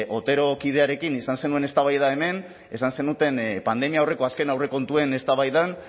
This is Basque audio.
otero kidearekin izan zenuen eztabaida hemen esan zenuten pandemia aurreko azken aurrekontuen eztabaidan